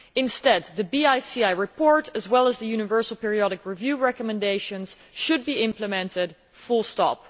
Instead, the BICI report, as well as the Universal Periodic Review recommendations, should be implemented, full stop.